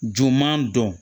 Juguman don